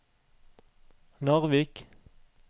Narvik